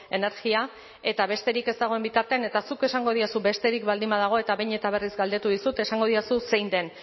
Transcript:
energia eta besterik ez dagoen bitartean eta zuk esango diozu besterik baldin badago eta behin eta berriz galdetu dizut esango dizu zein den